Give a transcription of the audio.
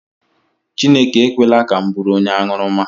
Chinekwe ekwela ka m bụrụ onye aṅụrụma